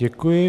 Děkuji.